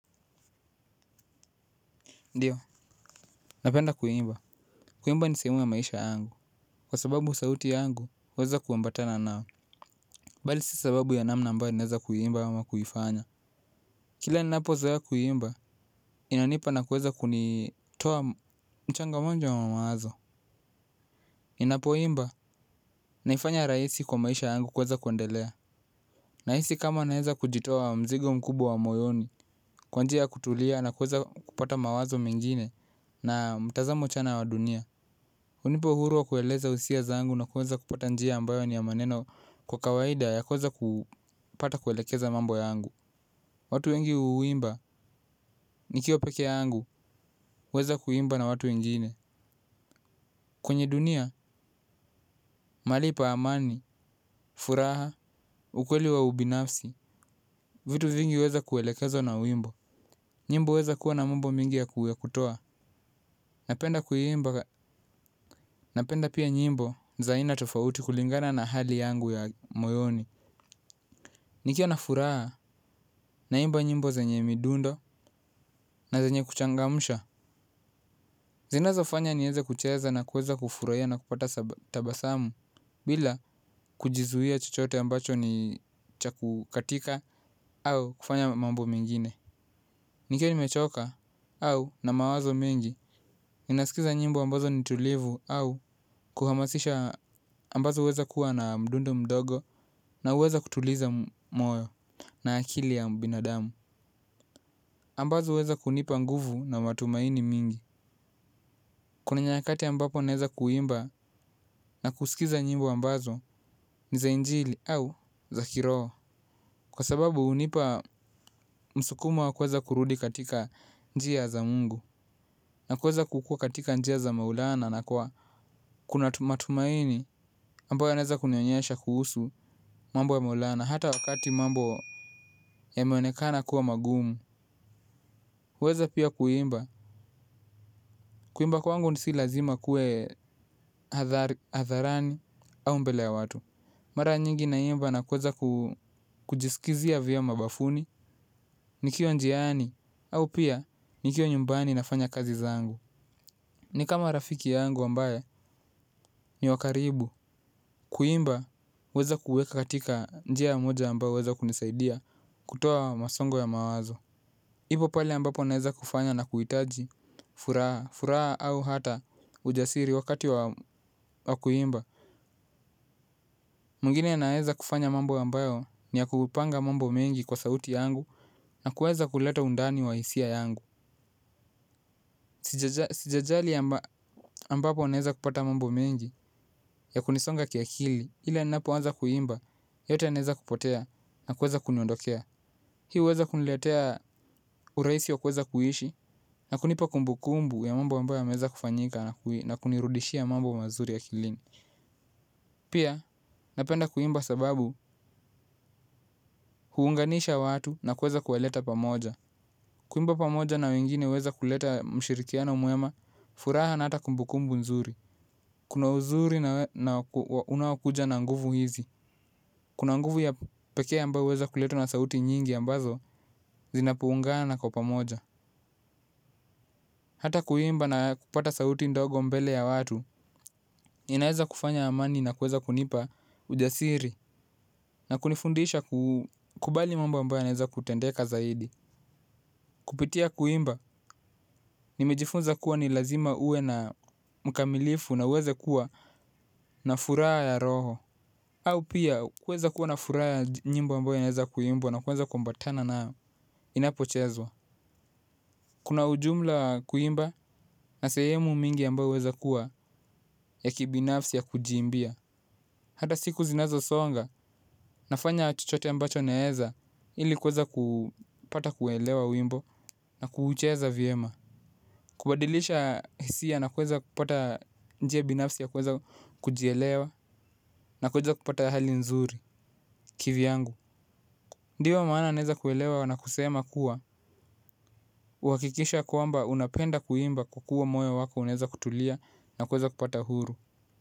Ndiyo, napenda kuimba. Kuimba ni sehemu ya maisha yangu. Kwa sababu sauti yangu, huweza kuambatana nao. Bali si sababu ya namna ambayo ninaweza kuimba ama kuifanya. Kila ninapozoea kuimba, inanipa na kuweza kunitoa mchanga wanjo wa mawazo. Ninapoimba, naifanya rahisi kwa maisha yangu kuweza kuendelea. Nahisi kama naweza kujitoa mzigo mkubwa wa moyoni, kwa njia ya kutulia na kuweza kupata mawazo mengine na mtazamo chanya wa dunia. Hunipa uhuru kueleza hisia zangu na kuweza kupata njia ambayo ni maneno kwa kawaida ya kuweza kupata kuelekeza mambo yangu. Watu wengi huimba, nikiwa peke yangu, huweza kuimba na watu wengine. Kwenye dunia, malipo ya amani, furaha, ukweli wa ubinafsi, vitu vingi huweza kuelekezwa na wimbo. Nyimbo huweza kuwa na mambo mengi ya kutoa. Napenda kuimba, napenda pia nyimbo za aina tofauti kulingana na hali yangu ya moyoni. Nikiwa na furaha naimba nyimbo zenye midundo na zenye kuchangamsha. Zinazonifanya niweze kucheza na kuweza kufurahia na kupata tabasamu bila kujizuia chochote ambacho ni cha kukatika au kufanya mambo mengine. Nikiwa nimechoka au na mawazo mengi, ninasikiliza nyimbo ambazo ni tulivu au za kuhamasisha ambazo zinaweza kuwa na mdundo mdogo. Na huweza kutuliza moyo na akili ya binadamu, ambazo huweza kunipa nguvu na matumaini mengi. Kuna nyakati ambapo naweza kuimba na kusikiliza nyimbo ambazo ni za injili au za kiroho kwa sababu hunipa msukumo wa kuweza kurudi katika njia za Mungu. Na kuweza kukua katika njia za Maulana na kwa, kuna matumaini. Ambayo yanaweza kunionyesha kuhusu mambo ya Maulana, hata wakati mambo yameonekana kuwa magumu, huweza pia kuimba. Kuimba kwangu si lazima kuwe hadharani au mbele ya watu. Mara nyingi naimba na kuweza kujisikizia vyema bafuni, nikiwa njiani au pia nikiwa nyumbani nafanya kazi zangu. Ni kama rafiki yangu ambaye ni wa karibu. Kuimba, huweza kuweka katika njia moja ambayo huweza kunisaidia kutoa msongo wa mawazo. Hivyo pale ambapo naweza kufanya na kuhitaji furaha, furaha au hata ujasiri wakati wa kuimba. Mwingine anaweza kufanya mambo ambayo ni ya kupanga mambo mengi kwa sauti yangu na kuweza kuleta undani wa hisia zangu. Sijajali ambapo naweza kupata mambo mengi yakunisonga kiakili. Ila ninapoanza kuimba, yote yanaanza kupotea na kuweza kuniondokea. Hii huweza kuniletea urahisi wa kuweza kuishi na kunipa kumbukumbu ya mambo ambayo yameweza kufanyika na kunirudishia mambo mazuri akilini. Pia napenda kuimba sababu huunganisha watu na kuweza kuwaleta pamoja. Kuimba pamoja na wengine huweza kuleta ushirikiano mwema, furaha na hata kumbukumbu nzuri. Kuna uzuri unaokuja na nguvu hizi. Kuna nguvu ya pekee ambayo huweza kuletwa na sauti nyingi ambazo zinapoungana kwa pamoja. Hata kuimba na kupata sauti ndogo mbele ya watu, inaweza kufanya amani na kuweza kunipa ujasiri na kunifundisha kukubali mambo ambayo yanaweza kutendeka zaidi. Kupitia kuimba, nimejifunza kuwa ni lazima uwe mkamilifu na uweze kuwa na furaha ya roho. Au pia, kuweza kuwa na furaha ya nyimbo ambazo naweza kuimba na kuweza kuambatana nazo inapochezwa. Kuna ujumla wa kuimba na sehemu nyingi ambazo huweza kuwa ya kibinafsi za kujiimbia. Hata siku zinazosonga, nafanya chochote ambacho naweza ili kuweza kupata kuelewa wimbo na kuucheza vyema. Kubadilisha hisia na kuweza kupata njia binafsi ya kuweza kujielewa na kuweza kupata hali nzuri kivyangu. Ndiyo maana naweza kuelewa na kusema kuwa, uhakikisha kwamba unapenda kuimba, kukua moyo wako unaweza kutulia na kuweza kupata uhuru.